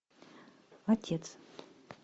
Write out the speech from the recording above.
отец